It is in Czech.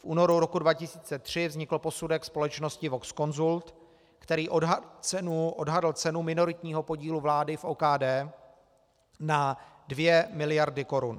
V únoru roku 2003 vznikl posudek společnosti Vox Consult, který odhadl cenu minoritního podílu vlády v OKD na 2 miliardy korun.